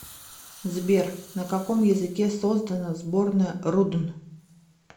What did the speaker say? сбер на каком языке создано сборная рудн